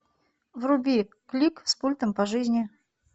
вруби клик с пультом по жизни